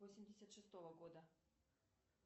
восемьдесят шестого года